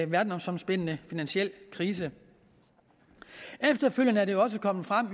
verdensomspændende finansiel krise efterfølgende er det jo også kommet frem